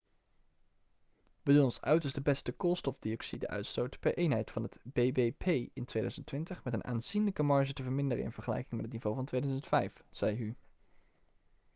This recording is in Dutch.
'we doen ons uiterste best de koolstofdioxide-uitstoot per eenheid van het bbp in 2020 met een aanzienlijke marge te verminderen in vergelijking met het niveau van 2005,' zei hu